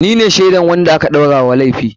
Ni ne shaidar wanda aka ɗaura wa laifi.